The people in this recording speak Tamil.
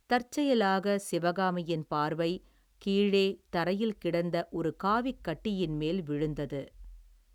தற்செயலாகச் சிவகாமியின் பார்வை, கீழே தரையில் கிடந்த ஒரு காவிக் கட்டியின் மேல் விழுந்தது.